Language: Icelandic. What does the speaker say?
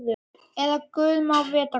Eða guð má vita hvað.